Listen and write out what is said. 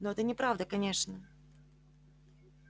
но это неправда конечно